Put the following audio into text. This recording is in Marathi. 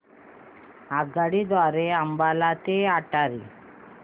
आगगाडी द्वारे अंबाला ते अटारी